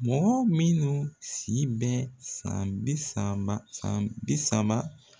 Mɔgɔ minnu si bɛ san bi saaba san bi saba